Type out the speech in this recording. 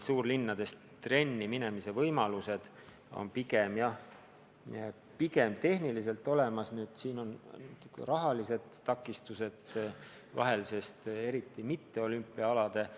Suurlinnades on trenni minemise ja trenni tegemise võimalused tehniliselt olemas, aga siin on jälle teinekord rahalised takistused, eriti kui tegu pole olümpiaaladega.